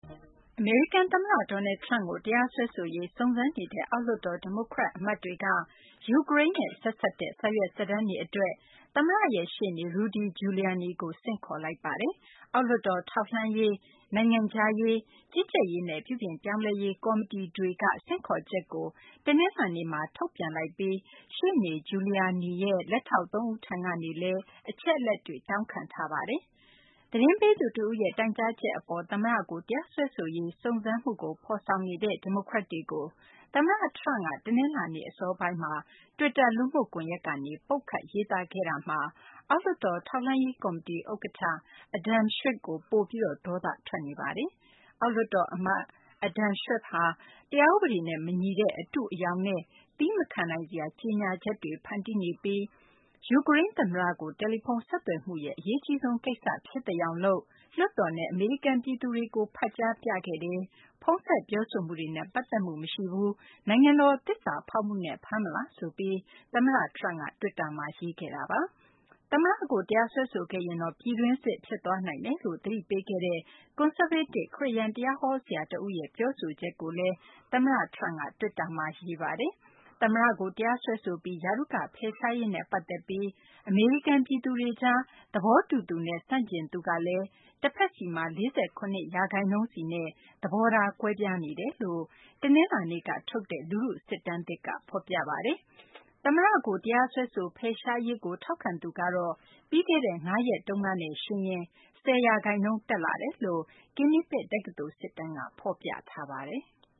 အမေရိကန် သမ္မတ Donald Trump ကို တရားစွဲဆိုရေး စုံစမ်းနေတဲ့ အောက်လွှတ်တော် ဒီမိုကရက် အမတ်တွေက ယူကရိန်းနဲ့ ဆက်စပ်တဲ့ စာရွက်စာတမ်းတွေ အတွက် သမ္မတရဲ့ ရှေ့နေ Rudy Giuliani ကို ဆင့်ခေါ်လိုက်ပါတယ်။ အောက်လွှတ်တော် ထောက်လှမ်းရေး၊ နိုင်ငံခြားရေး၊ ကြီးကြပ်ရေးနဲ့ ပြုပြင်ပြောင်းလဲရေး ကော်မတီတွေက ဆင့်ခေါ်ချက်ကို တနလာၤနေ့မှာ ထုတ်ပြန်လိုက်ပြီး ရှေ့နေ Giuliani ရဲ့ လက်ထောက် သုံးဦးထံကနေလည်း အချက်အလက်တွေ တောင်းခံထားပါတယ်။ သတင်းပေးသူတဦးရဲ့ တိုင်းကြားချက် အပေါ် သမ္မတကို တရားစွဲဆိုရေး စုံစမ်းမှုကို ဖော်ဆောင်နေတဲ့ ဒီမိုကရက်တွေကို သမ္မတ Trump က တနလာၤနေ့ အစောပိုင်းမှာ တွစ်တာ လူမှုကွန်ရက်ကနေ ပုတ်ခတ်ရေးသားခဲ့တာမှာ အောက်လွှတ်တော် ထောက်လှမ်းရေး ကော်မတီ ဥက္ကဌ Adam Schiff ကို ပိုပြီး ဒေါသ ထွက်နေတာပါ။ အောက်လွှတ်တော် အမတ် Adam Schiff ဟာ တရားဥပဒေနဲ့ မညီတဲ့ အတုအယောင်နဲ့ သည်းမခံနိုင်စရာ ကြေညာချက်တွေ ဖန်တီးနေပြီး ယူကရိန်း သမ္မတကို တယ်လီဖုန်းဆက်သွယ်မှုရဲ့ အရေးအကြီးဆုံး ကိစ္စဖြစ်သယောင်လုပ်ပြီး လွှတ်တော်နဲ့ အမေရိကန် ပြည်သူတွေကို ဖတ်ကြားပြသခဲ့တယ်၊ ဖုန်းဆက် ပြောဆိုမှုတွေနဲ့ ပတ်သက်မှု မရှိပါဘူး၊ နိုင်ငံတော် သစ္စာဖောက်မှုနဲ့ ဖမ်းမလားဆိုပြီး သမ္မတ Trump က တွစ်တာမှာ ရေးခဲ့ပါတယ်။ သမ္မတကို တရားစွဲဆိုခဲ့ရင်တော့ ပြည်တွင်းစစ် ဖြစ်သွားနိုင်တယ်လို့ သတိပေးခဲ့တဲ့ ကွန်ဆာဗေးတစ် ခရစ်ယာန် တရားဟော ဆရာ တဦးရဲ့ ပြောဆိုချက်ကိုလည်း သမ္မတ Trump က တွစ်တာမှာ ရေးခဲ့ပါတယ်။ သမ္မတ Trump ကို တရားစွဲဆိုပြီး ရာထူးက ဖယ်ရှားရေးနဲ့ ပတ်သက်ပြီး အမေရိကန် ပြည်သူတွေကြား သဘောတူသူနဲ့ ဆန့်ကျင်သူက တဖက်စီမှာ ၄၇ ရာခိုင်နှုန်းစီနဲ့ သဘောထား ကွဲပြားနေတယ်လို့ တနလာၤနေ့က ထုတ်တဲ့ လူထုစစ်တမ်းသစ်က ဖော်ပြပါတယ်။ သမ္မတကို တရားစွဲဆို ဖယ်ရှားရေးကို ထောက်ခံသူကတော့ ပြီးခဲ့တဲ့ ၅ ရက်နဲ့ ယှဉ်ရင် ၁၀ ရာခိုင်နှုန်း တက်လာတာ လို့လည်း Quinnipiac တက္ကသိုလ် စစ်တမ်းက ဖော်ပြပါတယ်။